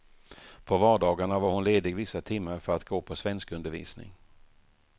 På vardagarna var hon ledig vissa timmar för att gå på svenskundervisning.